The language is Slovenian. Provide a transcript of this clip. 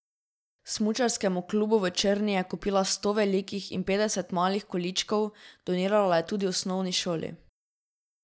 Smučarskemu klubu v Črni je kupila sto velikih in petdeset malih količkov, donirala je tudi osnovni šoli.